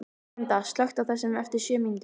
Vanda, slökktu á þessu eftir sjö mínútur.